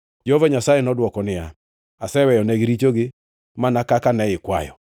Jehova Nyasaye nodwoko niya, “Aseweyonegi richogi mana kaka ne ikwayo.